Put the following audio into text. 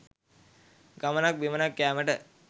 ගමනක් බිමනක් යෑමට